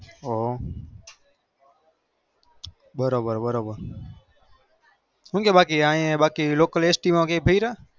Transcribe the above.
હ બરોબર બરોબર ભાઈ લોકલ st માં કર્યા